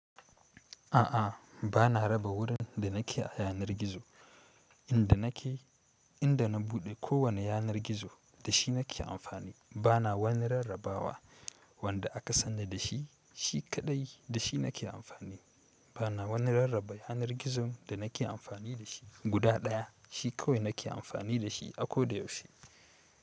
A, a bana raba wilurinda da nake a yanar gizo. Inda nake, inda na buɗe kowane yanar gizo da shi nake amfani bana wani rarrabawa wanda aka sanna da shi, shi kaɗai da shi nake amfani. Bana wani rarraba yanar gizon da nake amfani da shi. Guda ɗaya shi kawai nake amfani da shi a ko da yaushe.